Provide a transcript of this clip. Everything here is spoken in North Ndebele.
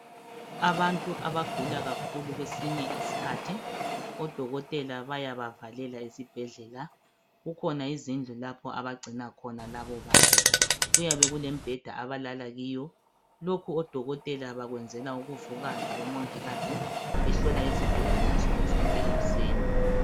Abantu abagula kakhulu kwesinye isikhathi odokotela bayaba valela esibhedlela kukhona izindlu lapho abagcina khona labobantu Kuyabe kulembheda abalala kiyo .Lokhu odokotela bakwenzela ukuvuka labomongikazi behlola izigulane nsuku zonke ekuseni .